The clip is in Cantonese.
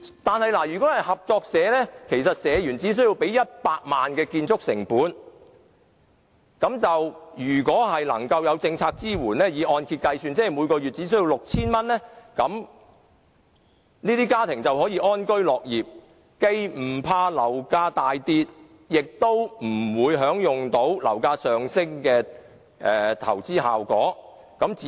但是，如果是合作社房屋，社員只須支付100萬元的建築成本，若有政府政策支援，這些家庭每月只須繳付按揭供款 6,000 元，便可以安居樂業，既無須害怕樓價大跌，也不會享有樓價上升的投資效益。